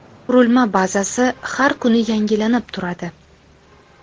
Qurilma bazasi har kuni yangilanib turadi.